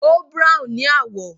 Ó brown ni àwọ̀.